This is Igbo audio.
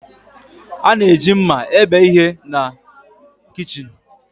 A na-eji mma ebe ihe na kichin.